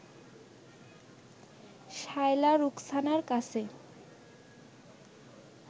শায়লা রুখসানার কাছে